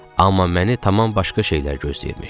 Amma məni tamam başqa şeylər gözləyirmiş.